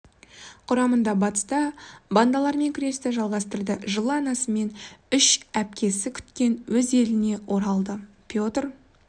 құрамында батыста бандалармен күресті жалғастырды жылы анасы мен үш әпкесі күткен өз еліне оралды петр